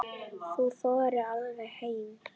Hún þorði varla heim.